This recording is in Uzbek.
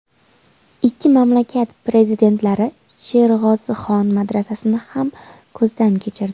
Ikki mamlakat prezidentlari Sherg‘ozixon madrasasini ham ko‘zdan kechirdi.